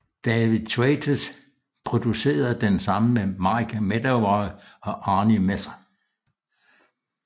David Thwaites producerede den sammen med Mike Medavoy og Arnie Messer